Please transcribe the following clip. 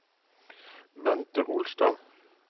Bente Holstad